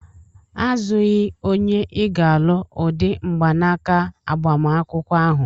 Azụghị onye ị ga-alụ ụdị mgbanaka agbamakwụkwọ ahụ!